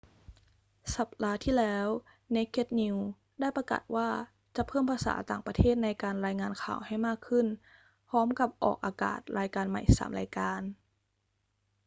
สัปดาห์ที่แล้ว naked news ได้ประกาศว่าจะเพิ่มภาษาต่างประเทศในการรายงานข่าวให้มากขึ้น พร้อมกับออกอากาศรายการใหม่ 3 รายการ